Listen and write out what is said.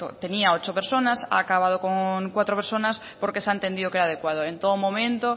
tenía ocho personas ha acabado con cuatro personas porque se ha entendido que era adecuado en todo momento